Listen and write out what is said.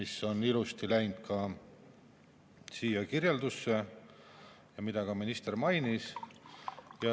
See on ilusti läinud siia kirjeldusse ja seda minister ka mainis.